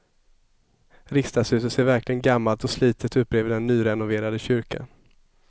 Riksdagshuset ser verkligen gammalt och slitet ut bredvid den nyrenoverade kyrkan.